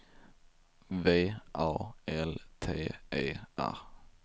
V A L T E R